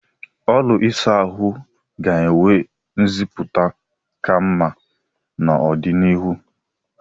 ụlọ ịsa ahụ ga-enwe nziputa ka mma n'ọdịnihu.